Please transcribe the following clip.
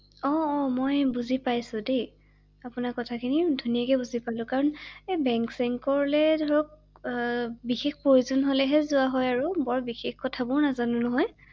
অ অ মই বুজি পাইছো দেই আপোনাৰ কথাখিনি ৷ধুনীয়াকে বুজি পালো ৷কাৰণ বেংক চেংকলৈ ধৰক বিশেষ প্ৰয়োজন হলেহে যোৱা হয় আৰু বৰ বিশেষ কথাবোৰ নাজানো নহয় ৷